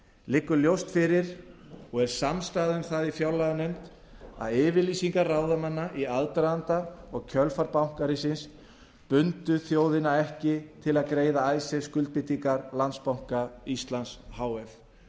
liggur ljóst fyrir og er samstaða um það í fjárlaganefnd að yfirlýsingar ráðamanna í aðdraganda og kjölfar bankahrunsins bundu þjóðina ekki til að greiða icesave skuldbindingar landsbanka íslands h